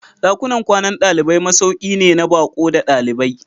Dakunan kwanan dalibai masauki ne na baƙo da ɗalibai.